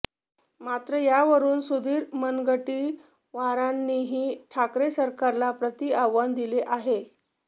मात्र यावरून सुधीर मुनगंटीवारांनीही ठाकरे सरकारला प्रतिआव्हान दिले आहे